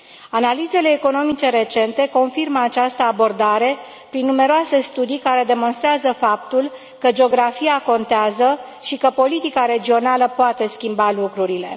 Analizele economice recente confirmă această abordare prin numeroase studii care demonstrează faptul că geografia contează și că politica regională poate schimba lucrurile.